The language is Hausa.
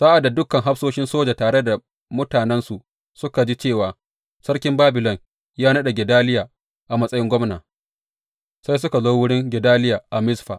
Sa’ad da dukan hafsoshin soja tare da mutanensu suka ji cewa sarkin Babilon ya naɗa Gedaliya a matsayin gwamna, sai suka zo wurin Gedaliya a Mizfa.